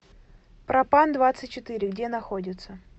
пропандвадцатьчетыре где находится